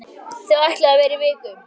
Þau ætluðu að vera í viku.